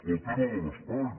el tema de l’espai